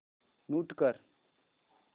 mute कर